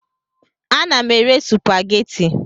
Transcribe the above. Ana m ere supageti.